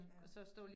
Ja